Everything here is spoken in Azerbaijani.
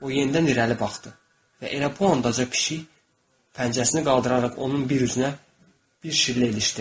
O yenidən irəli baxdı və elə bu ancaq pişik pəncəsini qaldıraraq onun bir üzünə bir şivlə ilişdirdi.